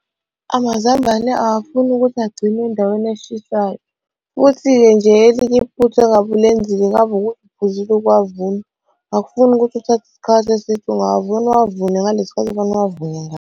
Amazambane awufuni ukuthi agcinwe endaweni eshisayo, futhi-ke nje elinye iphutha engabe ulenzile kungaba ukuthi uphuzile ukuwavuna. Akufuni ukuthi uthathe isikhathi eside, ungawavuna uwavune ngalesi sikhathi okumele uwavune .